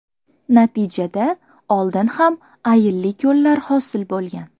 Natijada oldin ham ayilli ko‘llar hosil bo‘lgan.